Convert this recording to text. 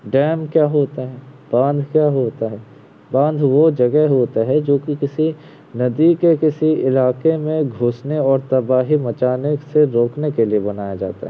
Dam क्या होता है। बांध क्या होता है। बांध वो जगह होता है जोकी किसी नदी के किसी इलाके में गुसने और तबाही मचाने के रोकने के लिए बनाया जाता है।